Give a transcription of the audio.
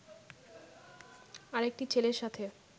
আরেকটি ছেলের সাথে